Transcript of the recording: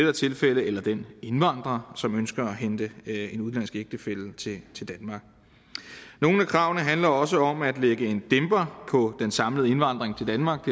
er tilfældet eller den indvandrer som ønsker at hente en udenlandsk ægtefælle til til danmark nogle af kravene handler også om at lægge en dæmper på den samlede indvandring til danmark